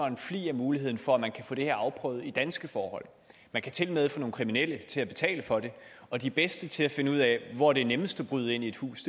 en flig af muligheden for at man kan få det afprøvet under danske forhold man kan tilmed få nogle kriminelle til at betale for det og de bedste til at finde ud af hvor det er nemmest at bryde ind i et hus